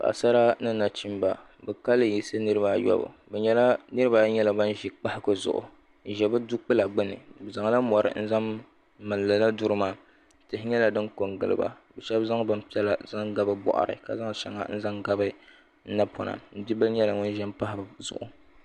paɣ'sari ni nachɛmiba ka lɛyiɣisi niribaayɔbu niribaayi nyɛla ban ʒɛ kpahigu zuɣ n ʒɛ be dokpala gbani bɛ zaŋla mori n zaŋ mali lala dorimaa tihi nyɛla din kongiliba ka shɛbi zaŋ bɛni piɛlla zaŋ ga bɛ buɣiri ka zaŋ shɛŋa zaŋ ga be napona bia nyɛla ŋɔ ʒɛ pahi be zuɣ